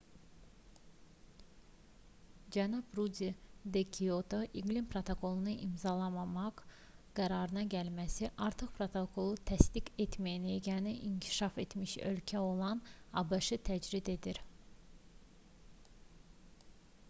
cənab ruddi də kioto iqlim protokolunu imzalamaq qərarına gəlməsi artıq protokolu təsdiq etməyən yeganə inkişaf etmiş ölkə olan abş-ı təcrid edir